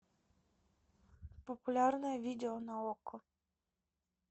популярное видео на окко